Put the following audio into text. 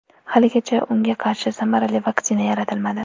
Haligacha unga qarshi samarali vaksina yaratilmadi.